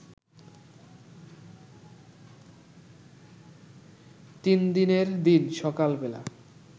তিন দিনের দিন সকালবেলা